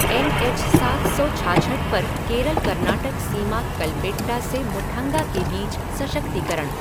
N H सात सौ छाछठ पर केरल कर्नाटक सीमा कलपेट्टा से मुठङ्गा के बीच सशक्तिकरण।